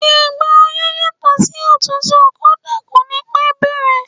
Ìgbà ọyẹ́ yàtò sí òtútù, kódà kò ní pẹ́ bẹ̀rẹ̀.